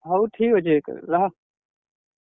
ହଉ ଠିକ୍ ଅଛେ ରହ।